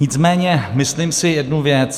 Nicméně myslím si jednu věc.